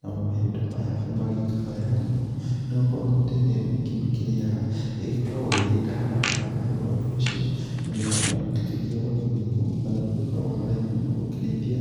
namo mahiũ ta maya nĩ magĩgĩkaga wega mũno, nĩ gũkorwo mĩtĩ ĩrĩa mĩingĩ makĩrĩaga ĩgĩkoragwo ĩrĩ ndawa to nĩ ũndũ wa ũndũ ũcio, mahiũ ta maya matikĩgiagwo nĩ mĩrimũ, na magĩkoragwo na raithi mũno gũkĩrĩithia